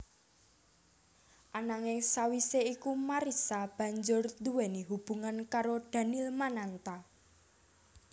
Ananing sawisé iku Marissa banjur nduwèni hubungan karo Daniel Mananta